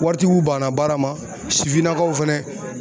Waritigiw banna baara ma sifinnakaw fɛnɛ